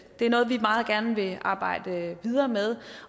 er noget vi meget gerne vil arbejde videre med